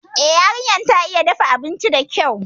Eh, yarinyar ta iya dafa abinci dakyau